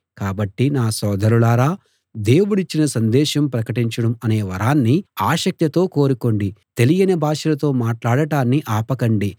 కాబట్టి నా సోదరులారా దేవుడిచ్చిన సందేశం ప్రకటించడం అనే వరాన్ని ఆసక్తితో కోరుకోండి తెలియని భాషలతో మాట్లాడటాన్ని ఆపకండి